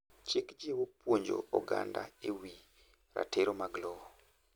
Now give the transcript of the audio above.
chik jiwo puonjo oganda e wi ratiro mag lowo